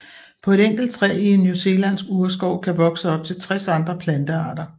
På et enkelt træ i en newzealandsk urskov kan vokse op til 60 andre plantearter